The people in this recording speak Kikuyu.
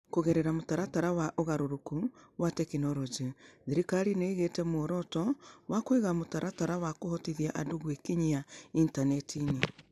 Kũgerera mũtaratara wa thirikari wa ũgarũrũku wa tekinolonjĩ, thirikari nĩ ĩigĩte muoroto wa kũiga mũtaratara wa kũhotithia andũ gwĩkinyia intaneti-inĩ.